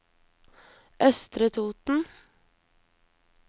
Østre Toten